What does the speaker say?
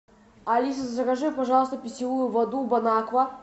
алиса закажи пожалуйста питьевую воду бонаква